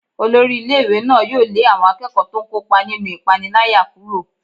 Olórí ilé-ìwé náà yóò lé àwọn akẹ́kọ̀ọ́ tó ń kópa nínú ìpániláyà kúrò.